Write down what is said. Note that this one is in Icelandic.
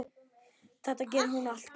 Þetta gerir hún alltaf.